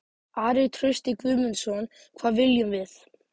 Ari Trausti Guðmundsson: Hvað viljum við?